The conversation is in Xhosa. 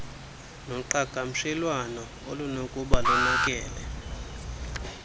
noqhagamshelwano olunokuba lonakele